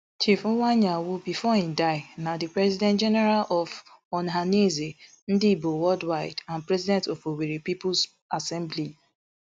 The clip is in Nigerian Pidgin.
chief iwuanyanwu bifor im die na di president general of ohanaeze ndigbo worldwide and president of owerri peoples assembly